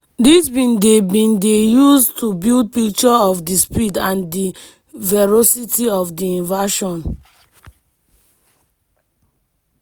dis bin dey bin dey used to build picture of di speed and di ferocity of di invasion.